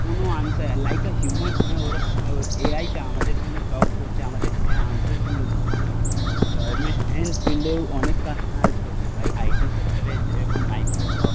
কোন answer like a human ওরা এআইটা আমাদের সামনে টপ করছে, আমাদের অ্যানসার গুলো দিচ্ছে গভর্নমেন্ট ফিল্ডেও অনেক কাজ করছে. ভাই আইটি সেক্টরে যেরকম মাইক্রোস